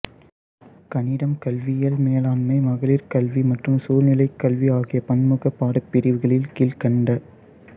கணிதம் கல்வியியல் மேலாண்மை மகளிர் கல்வி மற்றும் சூழ்நிலைக்கல்வி ஆகிய பன்முகப்பாடப்பிரிவுகளில் கீழ்க்கண்ட